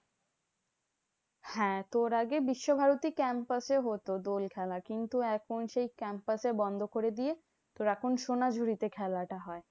হ্যাঁ তোর আগে বিশ্বভারতী campus এ হতো দোল খেলা। কিন্তু এখন সেই campus এ বন্ধ করে দিয়ে তোর এখন সোনাঝুরি তে খেলাটা হয়।